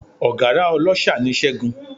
Ọ̀gárá ọláṣa ni Ṣẹ́gun